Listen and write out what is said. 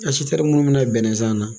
munnu mina bɛnnɛ san na